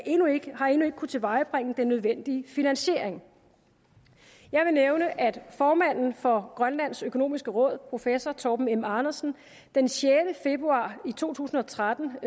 endnu ikke kunnet tilvejebringe den nødvendige finansiering jeg vil nævne at formanden for grønlands økonomiske råd professor torben m andersen den sjette februar to tusind og tretten